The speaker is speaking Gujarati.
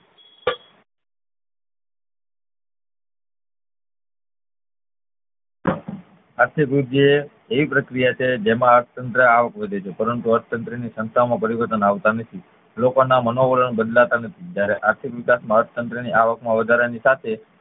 આર્થિક વૃદ્ધિ એ એવી પ્રક્રિયા છે જેમાં અર્થતંત્ર આવક વધે છે પરંતુ અર્થતંત્ર ની ક્ષમતાઓ માં પરિવર્તન આવતા નથી લોકો ના મનોવરણ બદલાતા નથી જયારે આર્થિક વિકાસમાં અર્થતંત્ર ની આવકમાં વધારા ની સાથે